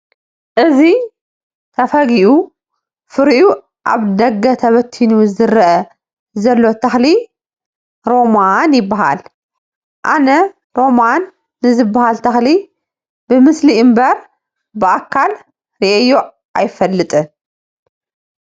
እዚ ተፈጊኡ ፍሪኡ ኣብ ደገ ተበቲኑ ዝርአ ዘሎ ተኽሊ ሮማን ይበሃል፡፡ ኣነ ሮማን ንዝበሃል ተኽሊ ብምስሊ እምበር ብኣካል ርኤዮ ኣይፈልጥን፡፡